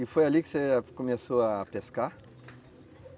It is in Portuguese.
E foi ali que você começou a pescar?